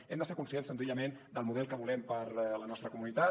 hem de ser conscients senzillament del model que volem per a la nostra comunitat